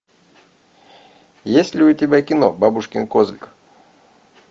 есть ли у тебя кино бабушкин козлик